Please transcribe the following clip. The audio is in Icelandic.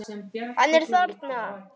Hann er þarna!